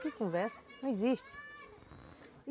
Que conversa, não existe.